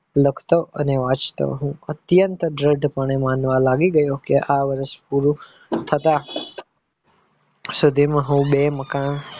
લખતો અને વાંચતો હું અત્યંત દ્રઢ પણે માનવા લાગી ગયો કે આ વર્ષ પૂરું થતાં સુધીમાં હું બે મકાન